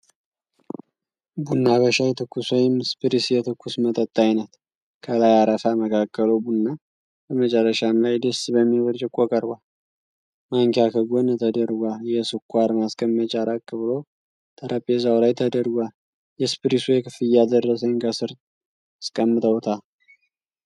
ቡና በሻይ ትኩስ ወይም ስፕሪስ የትኩስ መጠጥ አይነት ከላይ አረፋ መካከሉ ቡና መጨረሻ ሻይ ደስ በሚል ብርጭቆ ቀርቧል። ማንኪያ ከጎን ተደርጓል። የስኳር ማስቀመጫ ራቅ ብሎ ጠረጴዛዉ ላይ ተደርጓል። የስፕሪሱ የክፍያ ደረሰኝ ከስር አስቀምጠዉታል።